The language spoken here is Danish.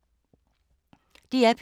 DR P3